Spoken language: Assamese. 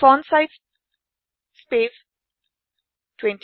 font size space 28